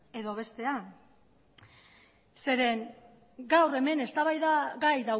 edo bestean zeren eta gaur hemen eztabaidagai